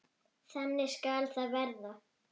Þannig skal það verða.